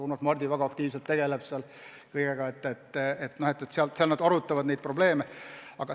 Urmas Mardi väga aktiivselt tegutseb seal, nad arutavad neid probleeme palju.